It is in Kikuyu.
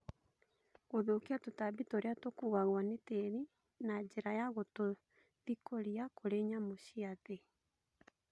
Gũthũkia tũtambi tũrĩa tũkuagwo nĩ tĩri na njĩra ya gũtũthikũria kũrĩ nyamũ cia thĩ